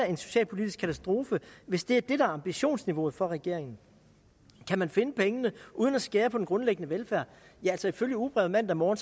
en socialpolitisk katastrofe hvis det er det der er ambitionsniveauet for regeringen kan man finde pengene uden at skære på den grundlæggende velfærd ifølge ugebrevet mandag morgen